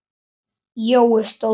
Jói stóð upp.